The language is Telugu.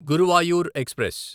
గురువాయూర్ ఎక్స్ప్రెస్